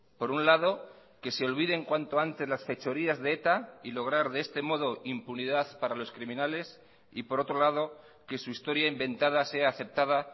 por un lado que se olviden cuanto antes las fechorías de eta y lograr de este modo impunidad para los criminales y por otro lado que su historia inventada sea aceptada